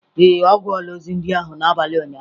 Ee, ọ gụọla ozi ndị ahụ n'abalị ụnyaahụ.